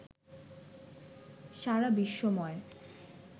সারা বিশ্বময়